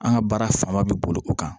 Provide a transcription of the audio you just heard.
An ka baara fanba bɛ boli o kan